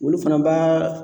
Olu fana b'a